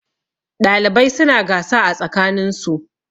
ɗalibai suna gasa a tsakaninsu